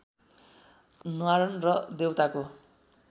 न्वारन र देवताको